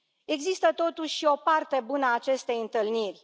Există, totuși, și o parte bună a acestei întâlniri.